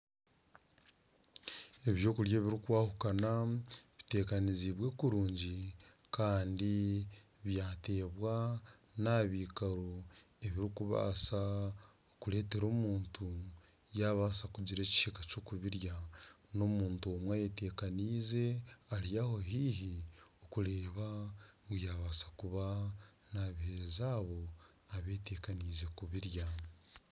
Eby'okurya ebirikwahukana bitebeekanise kurungi kandi byateebwa naha byikaro ebirikubaasa okureteera omuntu yabaasa kugira ekihika ky'okubirya, n'omuntu omwe ayetekanize ari aho haihi kureeba ngu yaabaasa kuba nabiheereza abo abeetekanize kubirya.